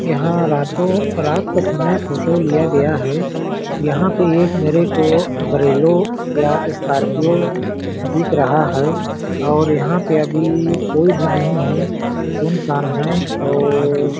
यहाँ रातों रात का समय फोटो लिए गया है यहाँ पे मेरे को बोरेलो या स्कार्पिओ दिख रहा है और यहाँ पे अभी कोई भी नहीं है सुनसान है और--